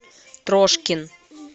трошкин